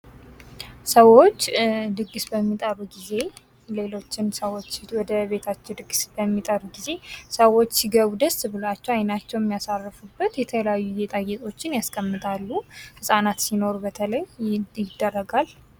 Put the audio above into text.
ሰወች ድግስ በሚጠሩ ጊዜ፤ ሌሎችን ሰወች ወደ ቤታቸው ድግስ በሚጠሩ ጊዜ ሰወች ሲገቡ ደስ ብሎላቸው አይናቸውን የሚያሳርፉበት የተለያዩ ገጣጌጦችን ያስቀምጣሉ ህፃናት ሲኖሩ በተለይ ይደረጋል።